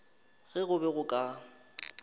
ge go be go ka